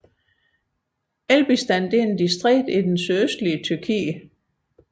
Elbistan er et distrikt i det sydøstlige Tyrkiet